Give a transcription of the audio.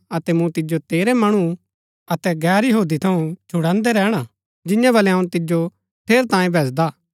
अतै मूँ तिजो तेरै मणु अतै गैर यहूदी थऊँ छुड़ान्दै रैहणा जिंआं बलै अऊँ तिजो ठेरैतांये भैजदा